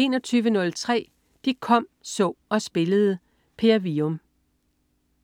21.03 De kom, så og spillede. Per Wium